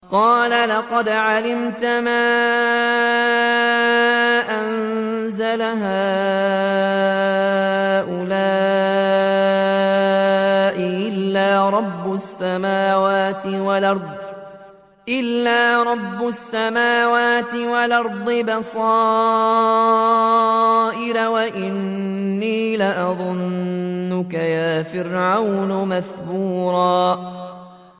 قَالَ لَقَدْ عَلِمْتَ مَا أَنزَلَ هَٰؤُلَاءِ إِلَّا رَبُّ السَّمَاوَاتِ وَالْأَرْضِ بَصَائِرَ وَإِنِّي لَأَظُنُّكَ يَا فِرْعَوْنُ مَثْبُورًا